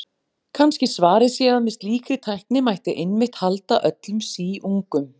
Kannski svarið sé að með slíkri tækni mætti einmitt halda öllum síungum.